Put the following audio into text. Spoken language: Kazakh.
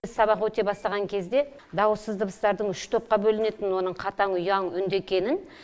біз сабақ өте бастаған кезде дауыссыз дыбыстардың үш топқа бөлінетінін оның қатаң ұяң үнді екенін